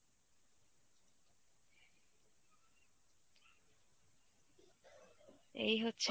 এই হচ্ছে